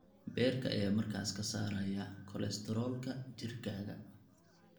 Beerka ayaa markaas ka saaraya kolestaroolka jirkaaga.